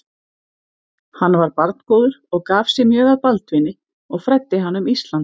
Hann var barngóður og gaf sig mjög að Baldvini og fræddi hann um Ísland.